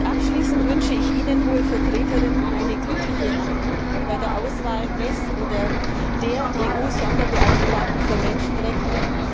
Abschließend wünsche ich Ihnen, Hohe Vertreterin, eine glückliche Hand bei der Auswahl des oder der EU Sonderbeauftragten für Menschenrechte.